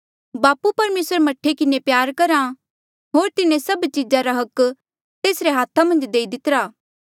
बापू परमेसर मह्ठे किन्हें प्यार रख्हा होर तिन्हें सभ चीजा रा अधिकार तेसरे हाथा मन्झ देई दितिरी